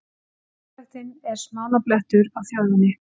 Fátæktin er smánarblettur á þjóðinni